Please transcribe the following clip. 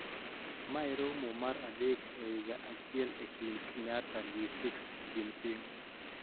Mae romo mar adek e higa achiel e kind Kenyatta gi Xi Jinping